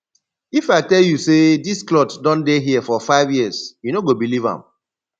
if i tell you say dis cloth don dey here for five years you no go believe am